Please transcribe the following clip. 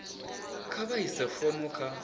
kha vha ise fomo kha